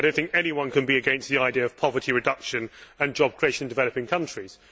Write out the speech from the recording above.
I do not think anyone can be against the idea of poverty reduction and job creation in developing countries.